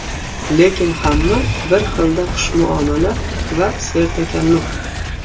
Lekin hamma bir xilda xushmuomala va sertakalluf.